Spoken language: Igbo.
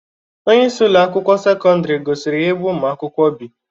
Onyeisi Ụlọ akwụkwọ sekọndrị gosiri ya ebe ụmụ akwụkwọ bi.